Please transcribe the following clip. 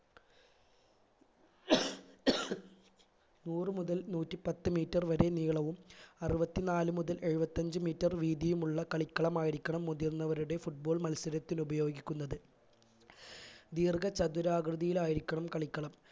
നൂറ് മുതൽ നൂറ്റിപ്പത്ത് metre വരെ നീളവും അരുവത്തി നാല് മുതൽ എഴുപത്തഞ്ച്‌ metre വീതിയുമുള്ള കളിക്കളമായിരിക്കണം മുതിർന്നവരുടെ football മത്സരത്തിൽ ഉപയോഗിക്കുന്നത് ദീർഘ ചതുരാകൃതിയിലായിരിക്കണം കളിക്കളം